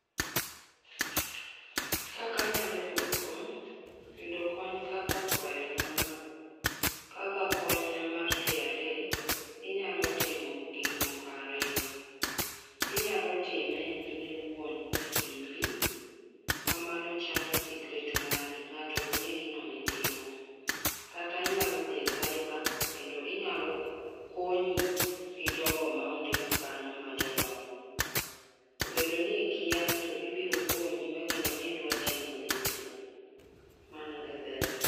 Kaka anyalo yudo kony, yudo kony kaka kwayo na ma, kaka kony na mar KRA, inyalo timo gik moko ariyo. Inyalo time in iwuon e simbi manyalo chalo secret mari mangato ok nge gim aitimo kata inyalo dhi e cyber kendo inyalo konyi gi jogo ma ondik kanyo ma jolony. Obedo ni ikia to gibiro konyi ma gino midwa timo e dhi through, mano e berne